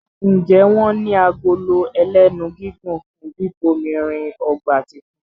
Njé wón ní Agolo ẹlẹ́nu gígùn fún bíbomirin ọgbà títún?